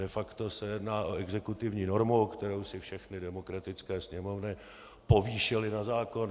De facto se jedná o exekutivní normu, kterou si všechny demokratické Sněmovny povýšily na zákon.